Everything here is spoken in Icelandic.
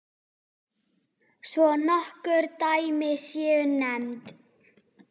Svo nokkur dæmi séu nefnd.